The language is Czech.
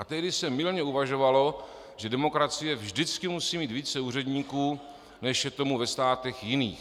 A tehdy se mylně uvažovalo, že demokracie vždycky musí mít více úředníků, než je tomu ve státech jiných.